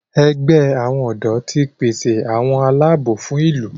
ègbé àwọn odò tí pèsè àwọn Àlàabò fún ìlú.